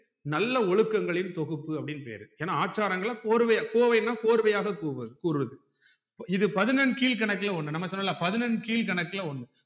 நல்ல ஒழுக்கங்களின் தொகுப்பு அப்டின்னு பேரு ஏனா ஆச்சாரங்கள கோர்வையா கோவைனா கோர்வையாக கூறுவது இது பதினெண்கீழ்க்கணக்குல ஒன்னு நம்ம சொன்னோம்ல பதினெண்கீழ்க்கணக்கு ஒன்னு